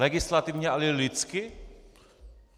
Legislativně a i lidsky?